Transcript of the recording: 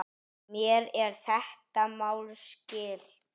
Mér er þetta mál skylt.